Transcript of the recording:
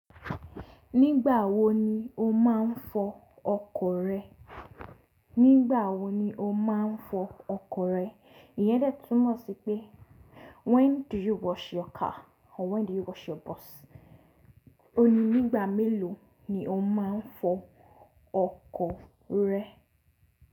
Nígbà wo ni o máa ń fọ ọkọ̀ rẹ? Nígbà wo ni o máa ń fọ ọkọ̀ rẹ? Ìyẹn dè túmọ̀ sí pé when do you wash your car or when do you wash your bus? Òun ní nígbà mélòó ni o máa ń fọ ọkọ̀ rẹ?